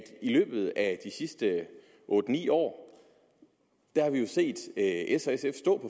i løbet af de sidste otte ni år har vi set s og sf stå